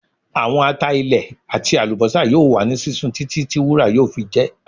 Awọn ata ilẹ ati alubosa yoo wa ni sisun titi ti wura yoo fi jẹ